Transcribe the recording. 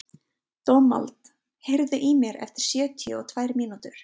Dómald, heyrðu í mér eftir sjötíu og tvær mínútur.